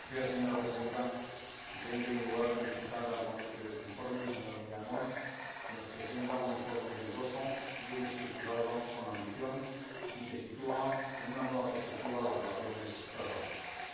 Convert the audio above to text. Señora Presidenta, quisiera, en primer lugar, felicitar al ponente de este informe, el señor Millán Mon, que nos presenta un informe riguroso, bien estructurado, con ambición y que sitúa en una nueva perspectiva las relaciones transatlánticas.